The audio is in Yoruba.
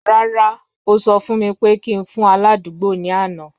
Rara, o sọ fun mi pe ki n fun aladugbo ni ana.